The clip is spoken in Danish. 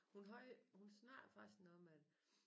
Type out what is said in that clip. Hun havde hun snakkede faktisk noget med